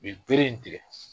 U ye bere in tigɛ.